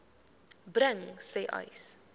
bring sê uys